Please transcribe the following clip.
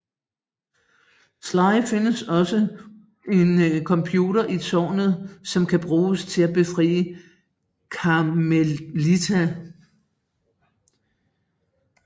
Sly finder også en computer i tårnet som kan bruges til at befri Carmelita